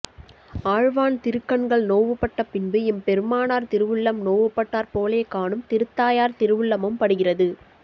ஆழ்வான் திருக்கண்கள் நோவுபட்ட பின்பு எம்பெருமானார் திருவுள்ளம் நோவுபட்டாற்போலேகாணும் திருத்தாயார் திருவுள்ளமும் படுகிறது